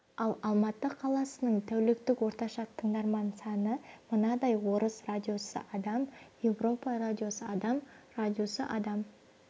ал алматы қаласының тәуліктік орташа тыңдармандар саны мынадай орыс радиосы адам европа радиосы адам радиосы адам